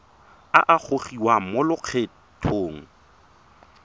a a gogiwang mo lokgethong